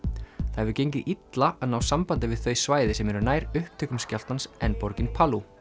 það hefur gengið illa að ná sambandi við þau svæði sem eru nær upptökum skjálftans en borgin